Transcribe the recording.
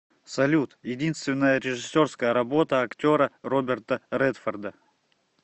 салют единственная режиссерская работа актера роберта редфорда